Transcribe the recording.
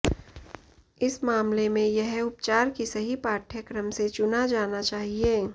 इस मामले में यह उपचार की सही पाठ्यक्रम से चुना जाना चाहिए